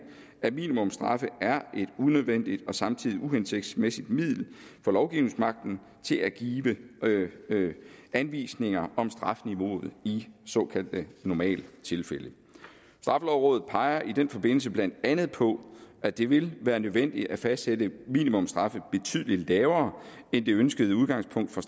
at minimumsstraffe er et unødvendigt og samtidig et uhensigtsmæssigt middel for lovgivningsmagten til at give anvisninger om strafniveauet i såkaldte normaltilfælde straffelovrådet peger i den forbindelse blandt andet på at det vil være nødvendigt at fastsætte minimumsstraffen betydelig lavere end det ønskede udgangspunkt for